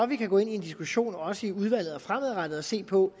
vi kan gå ind i en diskussion også i udvalget og fremadrettet og se på